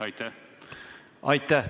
Aitäh!